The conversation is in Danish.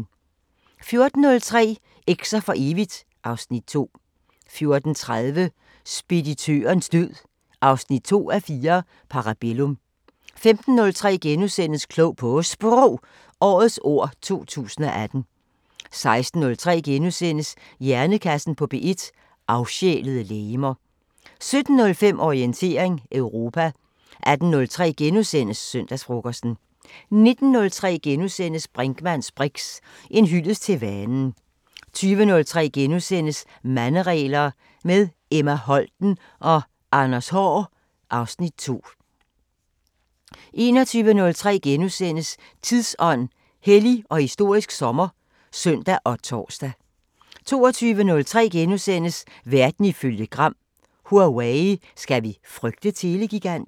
14:03: Eks'er for evigt (Afs. 2) 14:30: Speditørens død 2:4 – Parabellum 15:03: Klog på Sprog – Årets ord 2018 * 16:03: Hjernekassen på P1: Afsjælede legemer * 17:05: Orientering Europa 18:03: Søndagsfrokosten * 19:03: Brinkmanns briks: En hyldest til vanen * 20:03: Manderegler – med Emma Holten og Anders Haahr (Afs. 2)* 21:03: Tidsånd: Hellig og historisk sommer *(søn og tor) 22:03: Verden ifølge Gram: Huawei – skal vi frygte telegiganten? *